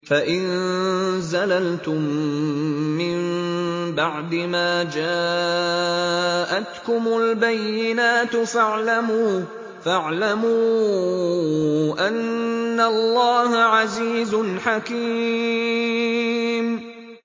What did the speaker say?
فَإِن زَلَلْتُم مِّن بَعْدِ مَا جَاءَتْكُمُ الْبَيِّنَاتُ فَاعْلَمُوا أَنَّ اللَّهَ عَزِيزٌ حَكِيمٌ